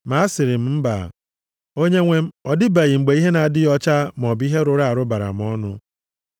“Ma asịrị m, ‘Mba, Onyenwe m, ọ dịbeghị mgbe ihe na-adịghị ọcha maọbụ ihe rụrụ arụ bara m nʼọnụ.’